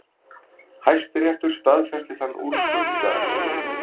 Hæstiréttur staðfesti þann úrskurð í dag